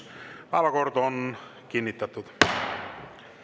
Päevakord on kinnitatud.